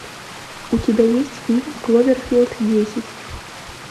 у тебя есть фильм кловерфилд десять